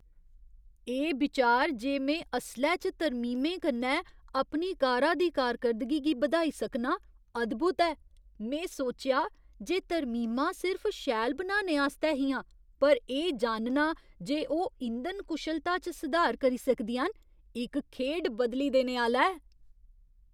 एह् बिचार जे में असलै च तरमीमें कन्नै अपनी कारा दी कारकर्दगी गी बधाई सकनां, अद्भुत ऐ। में सोचेआ जे तरमीमां सिर्फ शैल बनाने आस्तै हियां, पर एह् जानना जे ओह् इंधन कुशलता च सुधार करी सकदियां न, इक खेढ बदली देने आह्‌ला ऐ।